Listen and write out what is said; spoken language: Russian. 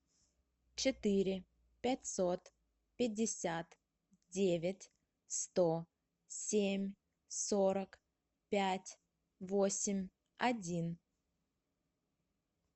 четыре пятьсот пятьдесят девять сто семь сорок пять восемь один